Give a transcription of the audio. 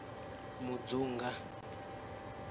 mudzunga